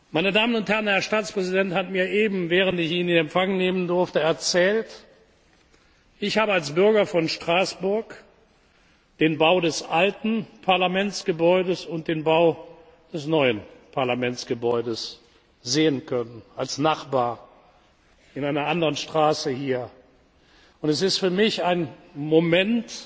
Meine Damen und Herren, Herr Staatspräsident hat mir eben, während ich ihn in Empfang nehmen durfte, erzählt Ich habe als Bürger von Straßburg den Bau des alten Parlamentsgebäudes und den Bau des neuen Parlamentsgebäudes sehen können, als Nachbar, in einer anderen Straße hier, und es ist für mich ein Moment